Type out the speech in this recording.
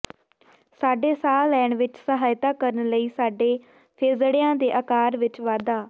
ਸਾਡੇ ਸਾਹ ਲੈਣ ਵਿਚ ਸਹਾਇਤਾ ਕਰਨ ਲਈ ਸਾਡੇ ਫੇਜ਼ੜਿਆਂ ਦੇ ਆਕਾਰ ਵਿਚ ਵਾਧਾ